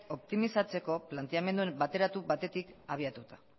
optimizatzeko planteamendu bateratu batetik abiatuta